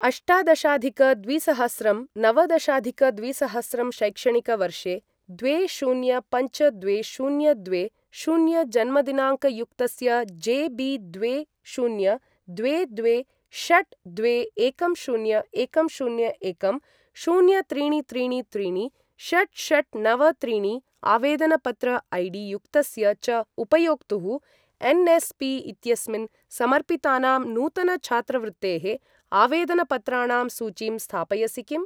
अष्टादशाधिक द्विसहस्रं नवदशाधिक द्विसहस्रं शैक्षणिकवर्षे द्वे शून्य पञ्च द्वे शून्य द्वे शून्य जन्मदिनाङ्कयुक्तस्य जे बि द्वे शून्य द्वे द्वे षट् द्वे एकं शून्य एकं शून्य एकं शून्य त्रीणि त्रीणि त्रीणि षट् षट् नव त्रीणि आवेदनपत्र ऐ.डी.युक्तस्य च उपयोक्तुः एन्.एस्.पी. इत्यस्मिन् समर्पितानां नूतन छात्रवृत्तेः आवेदनपत्राणां सूचीं स्थापयसि किम्?